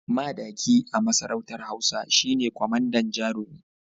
Madaki a masarautar hausa shine kwamandan jarumi